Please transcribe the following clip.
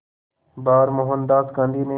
बार मोहनदास गांधी ने